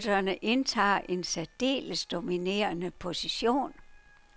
Cykelrytterne indtager en særdeles dominerende position.